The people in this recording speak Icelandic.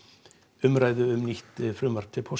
umræðu um nýtt frumvarp til